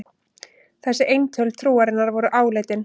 Þessi eintöl trúarinnar voru áleitin.